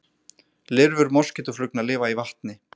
Lirfur moskítóflugna lifa í vatni.